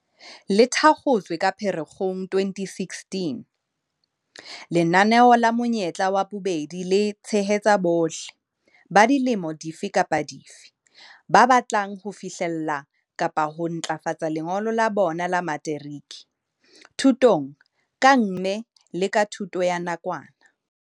Le thakgotswe ka Phere-kgong 2016, lenaneo la Monyetla wa Bobedi le tshehetsa bohle - ba dilemo dife kapa dife - ba batlang ho fihlella kapa ho ntlafatsa lengolo la bona la materiki, thutong kang mme le ka thuto ya nakwana.